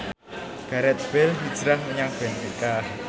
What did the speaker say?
Gareth Bale hijrah menyang benfica